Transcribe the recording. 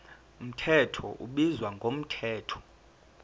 mthetho ubizwa ngomthetho